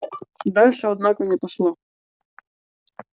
дальше однако не пошло